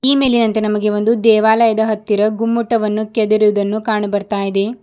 ಈ ಮೇಲಿನಂತೆ ನಮಗೆ ಒಂದು ದೇವಾಲಯದ ಹತ್ತಿರ ಗುಮ್ಮಟವನ್ನು ಕೆದರಿ ಇದನ್ನು ಕಂಡು ಬರುತ್ತಿದೆ.